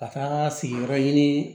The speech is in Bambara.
Ka taa sigiyɔrɔ ɲini